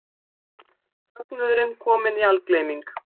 Fögnuðurinn kominn í algleyming.